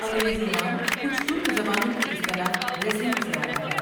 انگریزی نام کچھ ترک زبانوں کی اصطلاح 'ریسلنگ' سے آتا ہے۔